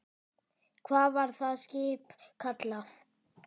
Hvað var það skip kallað?